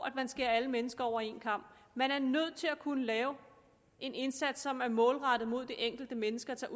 at man skærer alle mennesker over en kam man er nødt til at kunne lave en indsats som er målrettet mod det enkelte menneske og som